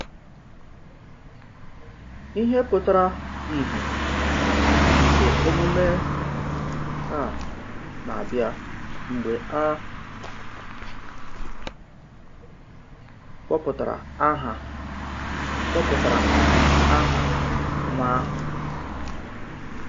Íhe pụtara ìhè nke emume à na-abịa mgbe a kpọpụtara aha kpọpụtara aha nwa ahụ.